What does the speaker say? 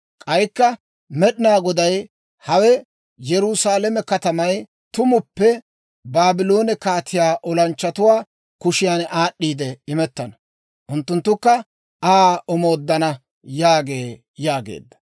K'aykka Med'inaa Goday, ‹Hawe Yerusaalame katamay tumuppe Baabloone kaatiyaa olanchchatuwaa kushiyan aad'd'iide imettana; unttunttukka Aa omooddana› yaagee» yaageedda.